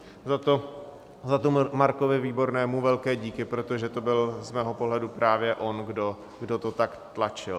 Za to Markovi Výbornému velké díky, protože to byl z mého pohledu právě on, kdo to tak tlačil.